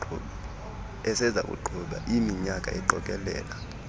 esezakuqhubeka iiminyaka iqokelela